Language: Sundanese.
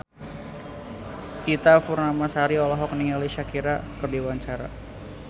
Ita Purnamasari olohok ningali Shakira keur diwawancara